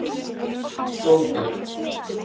Sóldögg